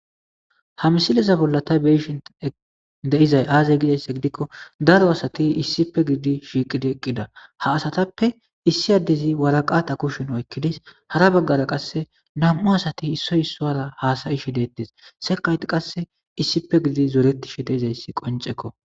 ha misileza bolla tay beyishin de'izay aazey gidayssa gidikko daro asati issipe giidi shiiqidi eqqida ha asatappe issi addezi waraqata kushen oykkidis hara baggara qasse nam7u asati issoy issora haasayishi deettes sekayt qasse issippe gididi zooretishi deizayssi qoncekko